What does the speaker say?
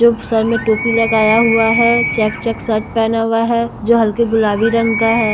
जो सर मे टोपी लगाया हुआ है चेक चेक शर्ट पहना हुआ है जो हल्के गुलाबी रंग का है।